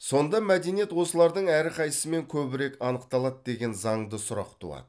сонда мәдениет осылардың әрқайсымен көбірек анықталады деген занды сұрақ туады